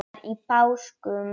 annar í páskum